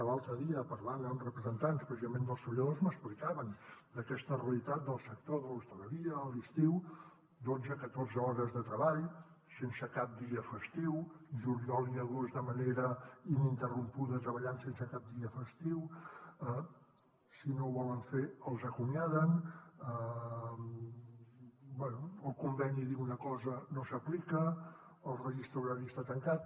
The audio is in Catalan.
l’altre dia parlant amb representants precisament dels treballadors m’explicaven aquesta realitat del sector de l’hostaleria a l’estiu dotze catorze hores de treball sense cap dia festiu juliol i agost de manera ininterrompuda treballant sense cap dia festiu si no ho volen fer els acomiaden bé el conveni diu una cosa no s’aplica el registre horari està tancat